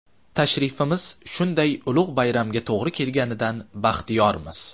Tashrifimiz shunday ulug‘ bayramga to‘g‘ri kelganligidan baxtiyormiz.